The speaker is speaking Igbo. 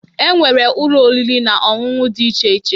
E nwere Ụlọ oriri na ọṅụṅụ dị iche iche.